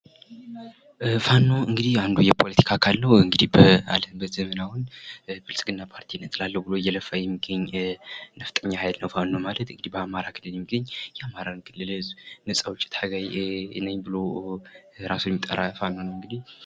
ፋኖ እንግድህ አንዱ የፖለቲካ አካል ነው። እንዲህ በአለንበት ዘመን አሁን ብልጽግና ፓርቲን እጥላለሁ ብሎ እየለፋ የሚገኝ ነፍጠኛ ኃይል ነው። ፋኖ ማለት በአማራ ክልል የሚገኝ የአማራ ክልል ነጻ አውጭ ታጋይ ነኝ ብሉ ራሱን የሚጠራ ፋኖ ነው እንግዲህ።